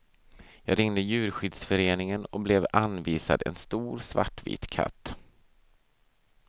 Jag ringde djurskyddsföreningen och blev anvisad en stor svartvit katt.